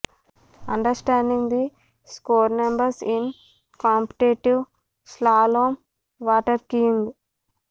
under standing the score numbers in competitive slalom waterskiing